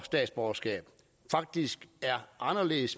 statsborgerskab faktisk er